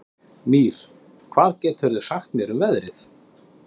Mír, hvað geturðu sagt mér um veðrið?